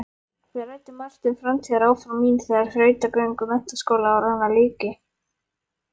Við ræddum margt um framtíðaráform mín þegar þrautagöngu menntaskólaáranna lyki.